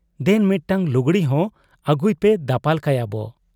ᱫᱮᱱ ᱢᱤᱫᱴᱟᱹᱝ ᱞᱩᱜᱽᱲᱤ ᱦᱚᱸ ᱟᱹᱜᱩᱭᱯᱮ ᱫᱟᱯᱟᱞ ᱠᱟᱭᱟ ᱵᱚ ᱾'